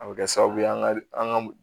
A bɛ kɛ sababu ye an ka an ka